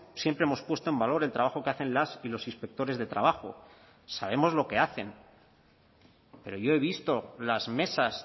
siempre hemos puesto en valor el trabajo que hacen las y los inspectores de trabajo sabemos lo que hacen pero yo he visto las mesas